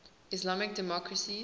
islamic democracies